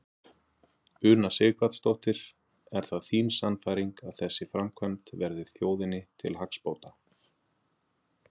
Una Sighvatsdóttir: Er það þín sannfæring að þessi framkvæmd verði þjóðinni til hagsbóta?